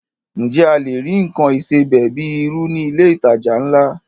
Ǹjẹ́ a lè rí nǹkan ìsebẹ̀ bíi irú ní ilé ìtajà ńlá?